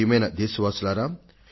ప్రియమైన నా దేశ వాసులారా